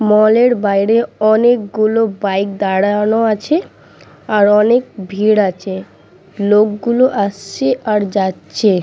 মল -এর বাইরে অনেকগুলো বাইক দাঁড়ানো আছে আর অনেক ভিড় আছে লোকগুলো আসছে আর যাচ্ছে।